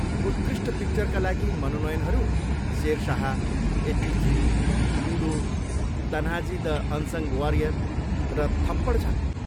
उत्कृष्ट पिक्चरका लागि मनोनयनहरू Shershaah, eighty three, Ludo, Tanhaji the unsung warrior र थप्पड छन्।